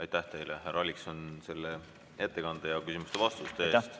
Aitäh teile, härra Allikson, ettekande ja küsimustele vastamise eest!